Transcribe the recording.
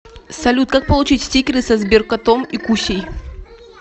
салют как получить стикеры со сберкотом и кусей